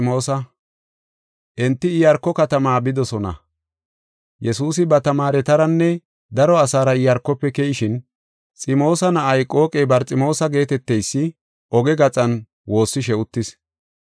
Enti Iyaarko katama bidosona. Yesuusi ba tamaaretaranne daro asaara Iyaarkofe keyishin, Ximoosa na7ay, qooqey, Barximoosa geeteteysi, oge gaxan woossishe uttis.